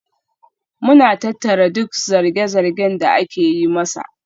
Muna tattara duk zarge-zargen da ake yi masa.